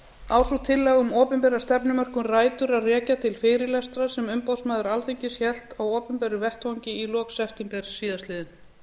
sú tillaga um opinbera stefnumörkun rætur að rekja til fyrirlestra sem umboðsmaður alþingis hélt á opinberum vettvangi í lok september síðastliðinn